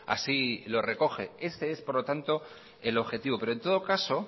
así lo recoge este es por lo tanto el objetivo pero en todo caso